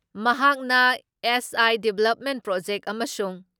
ꯃꯍꯥꯛꯅ SI. Development project ꯑꯃꯁꯨꯡ